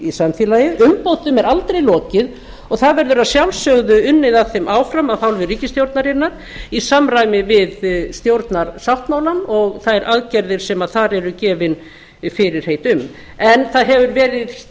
í samfélagið umbótum er aldrei lokið og það verður að sjálfsögðu unnið að þeim áfram af hálfu ríkisstjórnarinnar í samræmi við stjórnarsáttmálann og þær aðgerðir sem þar eru gefin fyrirheit um en það hefur verið